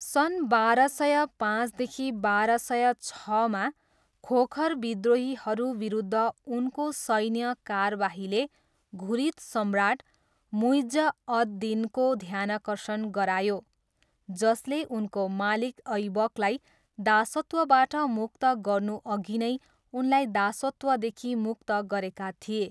सन् बाह्र सय पाँचदेखि बाह्र सय छमा खोखर विद्रोहीहरू विरुद्ध उनको सैन्य कारबाहीले घुरिद सम्राट मुइज्ज अद् दिनको ध्यानाकर्षण गरायो, जसले उनको मालिक ऐबकलाई दासत्वबाट मुक्त गर्नुअघि नै उनलाई दासत्वदेखि मुक्त गरेका थिए।